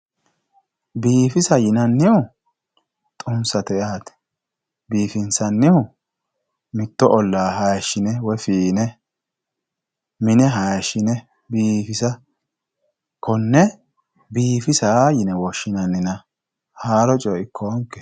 biifisa yinanniwa xummisate yaate biifinsannihu mitto ollaa hayiishshine woye fiine mine hayiishshine biifisa konne biifisa yine woshshinannina haaro coye ikkoonkehe